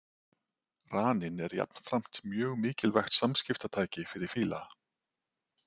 Raninn er jafnframt mjög mikilvægt samskiptatæki fyrir fíla.